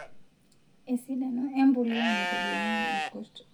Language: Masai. Esidano empuliya naitobirunyieki irkurt;